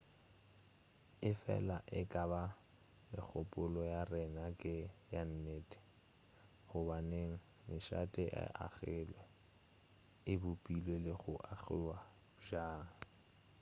efela e ka ba megopolo ya rena ke ya nnete gobaneng mešate e agilwe e bopilwe le go agiwa bjang